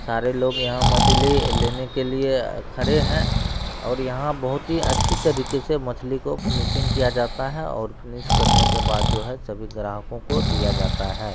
सारे लोग यहां मछली लेने के लिए खड़े है और यहां बहुत ही अच्छी तरीके से मछली को फिनिशिंग किया जाता है और फिनिश करने के बाद जो है सभी ग्राहकों को दिया जाता है।